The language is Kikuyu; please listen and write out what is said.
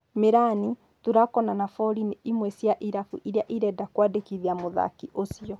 Mĩrani, Tulako na Nabori nĩ imwe cia irabu iria irenda kũmwandĩkithia mũthaki ũcio.